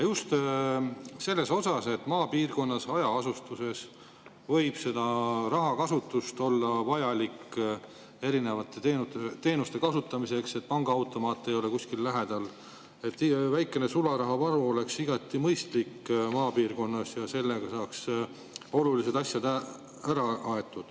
Just selles osas, et maapiirkonnas, hajaasustuses võib olla vajalik erinevate teenuste kasutamiseks, sest pangaautomaate ei ole lähedal, väikene sularahavaru oleks maapiirkonnas igati mõistlik ja sellega saaks olulised asjad ära aetud.